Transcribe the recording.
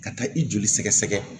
Ka taa i joli sɛgɛsɛgɛ